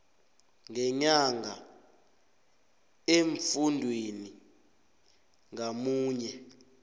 ngenyanga emfundini ngamunye